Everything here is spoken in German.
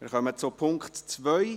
Wir kommen zum Punkt 2.